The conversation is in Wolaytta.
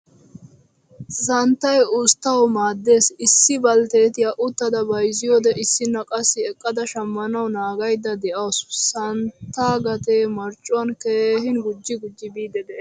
Santtay usttawu maadees. Issi balttetiyaa uttada bayzziyode issina qassi eqqada shamanwu naagaydda deawusu. Santtagatte marccuwan keehin guji guji biidi de'ees.